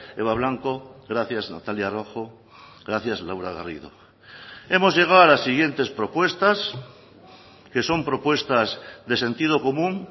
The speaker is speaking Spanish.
eva blanco gracias natalia rojo gracias laura garrido hemos llegado a las siguientes propuestas que son propuestas de sentido común